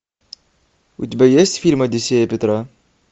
у тебя есть фильм одиссея петра